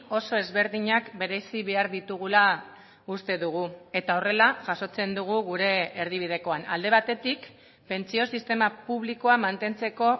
oso ezberdinak berezi behar ditugula uste dugu eta horrela jasotzen dugu gure erdibidekoan alde batetik pentsio sistema publikoa mantentzeko